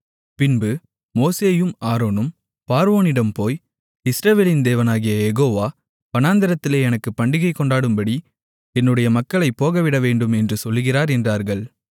பின்பு மோசேயும் ஆரோனும் பார்வோனிடம் போய் இஸ்ரவேலின் தேவனாகிய யெகோவா வனாந்திரத்திலே எனக்குப் பண்டிகை கொண்டாடும்படி என்னுடைய மக்களைப் போகவிடவேண்டும் என்று சொல்லுகிறார் என்றார்கள்